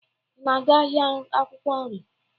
Ị na-aga ahịa akwụkwọ nri?